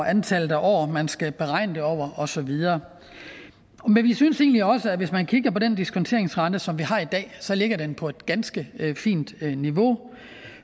antal år man skal beregne det over og så videre men vi synes egentlig også at hvis man kigger på den diskonteringsrente som vi har i dag ligger den på et ganske fint niveau